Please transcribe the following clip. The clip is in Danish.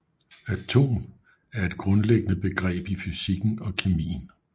Atom er et grundlæggende begreb i fysikken og kemien